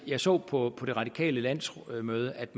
jeg så på det radikale landsmøde at